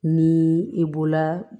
Ni i bɔla